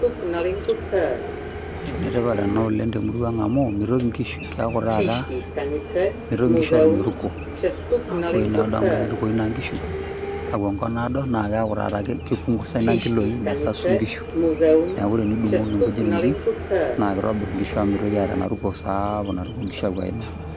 Enetipat enatenkopang amu keaku inkishu mitoki taaata, mitoki nkishu atumeruko amu tenepuo inkishu enkop naado na keaku taata kipungusa ina nkiloi nesasu nkishu , niaku tenidungoki nkishu iji naa kitobir amu metumeruko sapuk.